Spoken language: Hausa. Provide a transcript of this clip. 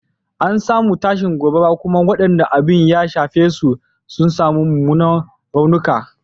An samu tashin gobara kuma wadanda abin ya shafa sun samu mumunan raunuka.